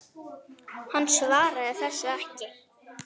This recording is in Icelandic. Hann svaraði þessu ekki.